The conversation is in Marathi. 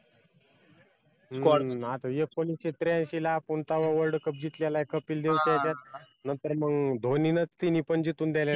हम्म आता एकोणीशे त्र्याऐंशी ला आपण तव्हा world cup जिंकलेला कपिल देव नंतर मग धोनीने तिनी पण जिंकून देण्यात